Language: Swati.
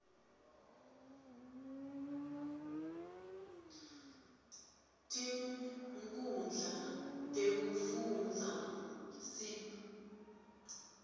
tinkhundla tekufundza sib